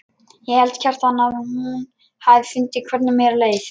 Ég held, Kjartan, að hún hafi fundið hvernig mér leið.